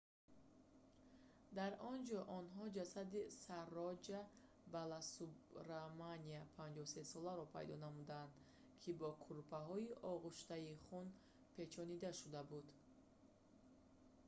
дар он ҷо онҳо ҷасади сароҷа баласубраманяни 53-соларо пайдо намуданд ки бо кӯрпаҳои огӯштаи хун печонида шуда буд